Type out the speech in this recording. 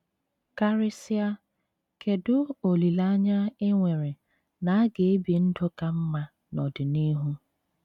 Karịsịa ,Kedụ olileanya e nwere na a ga - ebi ndụ ka mma n’ọdịnihu?